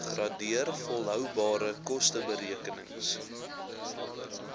gradeer volhoubare kosteberekenings